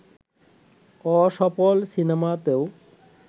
অসফল সিনেমাতেও